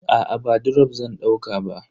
Aa ba drop zan dauka ba.